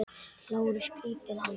LÁRUS: Grípið hann!